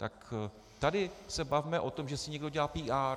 Tak se tady bavme o tom, že si někdo dělá PR.